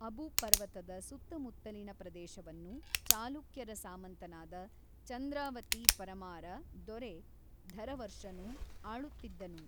ಅಬು ಪರ್ವತದ ಸುತ್ತಮುತ್ತಲಿನ ಪ್ರದೇಶವನ್ನು ಚಾಲುಕ್ಯರ ಸಾಮಂತನಾದ ಚಂದ್ರಾವತಿ ಪರಮಾರ ದೊರೆ ಧರವರ್ಷನು ಆಳುತ್ತಿದ್ದನು.